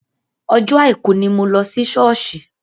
Ọjọ́ àìkú ni mo lọ sí ṣọ́ọ̀ṣì.